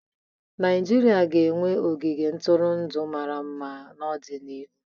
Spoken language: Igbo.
Naijiria ga-enwe ogige ntụrụndụ mara mma n'ọdịnihu.